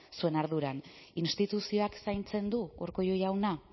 zuen arduran instituzioak zaintzen du urkullu jauna